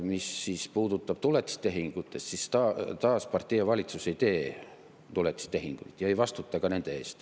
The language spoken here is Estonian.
Mis puudutab tuletistehinguid, siis taas, partei ja valitsus ei tee tuletistehinguid ja ei vastuta ka nende eest.